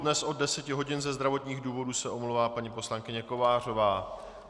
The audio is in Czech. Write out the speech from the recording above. Dnes od 10 hodin ze zdravotních důvodů se omlouvá paní poslankyně Kovářová.